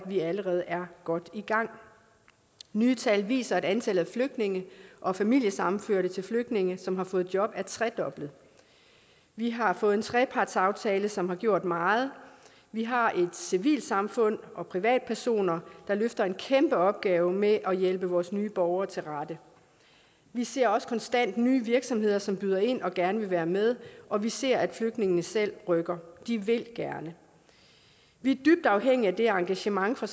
vi er allerede godt i gang nye tal viser at antallet af flygtninge og familiesammenførte til flygtninge som har fået job er tredoblet vi har fået en trepartsaftale som har gjort meget vi har et civilsamfund og privatpersoner der løfter en kæmpe opgave med at hjælpe vores nye borgere til rette vi ser også konstant nye virksomheder som byder ind og gerne vil være med og vi ser at flygtningene selv rykker de vil gerne vi er dybt afhængige af det engagement fra